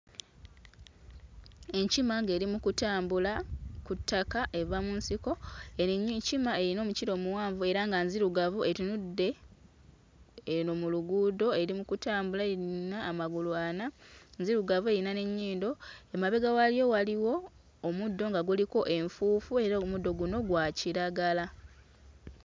Enkima ng'eri mu kutambula ku ttaka eva mu nsiko erinywi nkima eyina omukira omuwanvu era nga nzirugavu etunudde eno mu luguudo eri mu kutambula eyina amagulu ana, nzirugavu eyina n'ennyindo, emabega waayo waliwo omuddo nga guliko enfuufu era omuddo guno gwa kiragala.